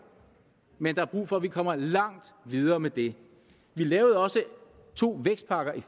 men der er brug for at vi kommer langt videre med det vi lavede også to vækstpakker i